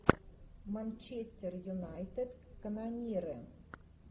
манчестер юнайтед канониры